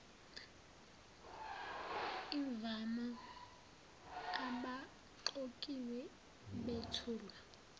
imvama abaqokiwe bethulwa